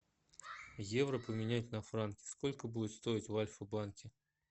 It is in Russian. евро поменять на франки сколько будет стоить в альфа банке